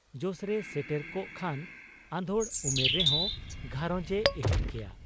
ᱡᱚᱥᱨᱮᱭ ᱥᱮᱴᱮᱨ ᱠᱚᱜ ᱠᱷᱟᱱ ᱟᱫᱷᱚᱲ ᱩᱢᱮᱨ ᱨᱮᱦᱚᱸ ᱜᱷᱟᱨᱚᱸᱡᱽ ᱮ ᱮᱦᱚᱵ ᱠᱮᱭᱟ ᱾